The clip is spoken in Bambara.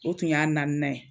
O tun y'a naaninan ye